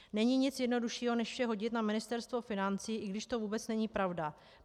Není nic jednoduššího než vše hodit na Ministerstvo financí, i když to vůbec není pravda.